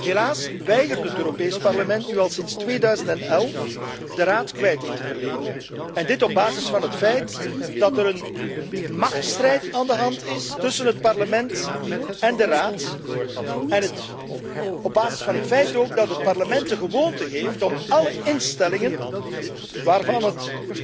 Helaas weigert het Europees Parlement nu al sinds 2011 aan de Raad kwijting te verlenen en dit op basis van het feit dat er een machtsstrijd gaande is tussen het Parlement en de Raad, en ook op basis van het feit dat het Parlement de gewoonte heeft om alle instellingen waaraan het